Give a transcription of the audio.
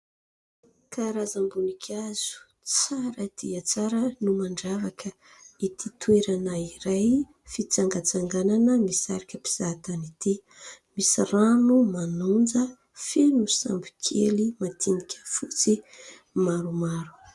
Karazam-boninkazo tsara dia tsara no mandravaka ity toerana iray fitsangatsanganana misarika mpizaha tany ity. Misy rano manonja, feno sambo kely madinika fotsy maromaro.